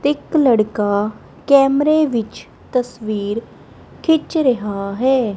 ਤੇ ਇੱਕ ਲੜਕਾ ਕੈਮਰੇ ਵਿੱਚ ਤਸਵੀਰ ਖਿੰਚ ਰਿਹਾ ਹੈ।